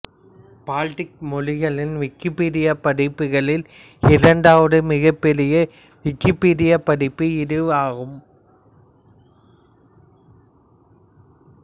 Baltic மொழிகளின் விக்கிப்பீடியப் பதிப்புகளில் இரண்டாவது மிகப் பெரிய விக்கிபீடியப் பதிப்பு இது ஆகும்